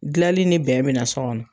Gilanli ni bɛn be na so kɔnɔ.